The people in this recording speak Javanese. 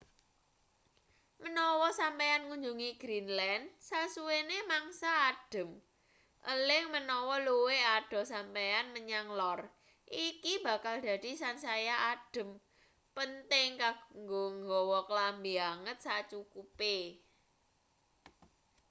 menawa sampeyan ngunjungi greenland sasuwene mangsa adhem eling menawa luwih adoh sampeyan menyang lor iki bakal dadi sansaya adhem penting kanggo nggawa klambi anget sacukupe